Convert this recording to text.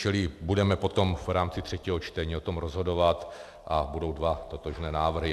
Čili budeme potom v rámci třetího čtení o tom rozhodovat a budou dva totožné návrhy.